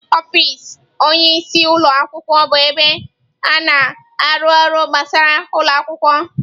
Ọfịs onye isi ụlọ akwụkwọ bụ ebe a na-arụ ọrụ gbasara ụlọ akwụkwọ.